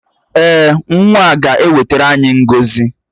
Èè, nwa a ga-ewetara anyị ngọzi